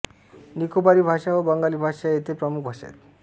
निकोबारी भाषा व बंगाली भाषा या येथील प्रमुख भाषा आहेत